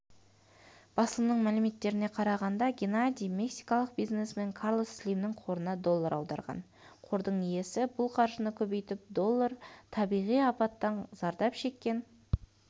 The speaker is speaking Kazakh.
басылымның мәліметтеріне қарағанда геннадий мексикалық бизнесмен карлос слимнің қорына доллар аударған қордың иесі бұл қаржыны көбейтіп доллар табиғи апаттан зардап шеккен